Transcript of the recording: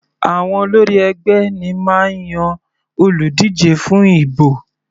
Àwọn olórí ẹgbẹ́ ní máa ń yan olùdíje fún ibò.